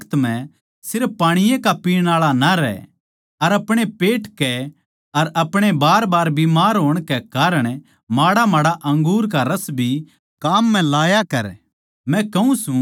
आण आळे बखत म्ह सिर्फ पाणी ए का पीण आळा ना रह पर अपणे पेट के अर अपणे बारबार बीमार होण कै कारण माड़ामाड़ा अंगूर का रस भी काम म्ह लाया कर